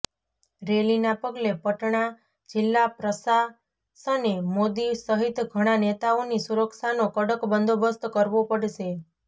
રેલીના પગલે પટણા જિલ્લા પ્રશાસને મોદી સહિત ઘણા નેતાઓની સુરક્ષાનો કડક બંદોબસ્ત કરવો પડશે